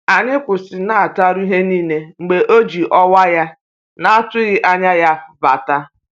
Anyị kwụsịnataru ihe niile mgbe o ji ọkwa ya na-atụghị anya ya bata